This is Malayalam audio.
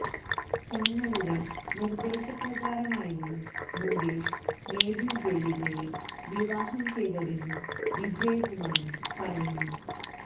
തങ്ങളുടെ നിര്ദ്ദേശപ്രകാരമായിരുന്നു മുകേഷ് മേതില് ദേവികയെ വിവാഹം ചെയ്തതെന്നും വിജയകുമാരി പറയുന്നു